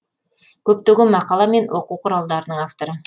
көптеген мақала мен оқу құралдарының авторы